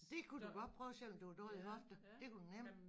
Det kunne du godt prøve selvom du har dårlige hofter det kunne du nem